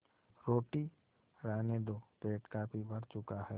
रोटी रहने दो पेट काफी भर चुका है